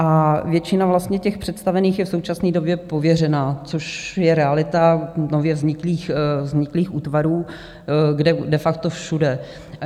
A většina vlastně těch představených je v současný době pověřená, což je realita nově vzniklých útvarů, kde de facto všude.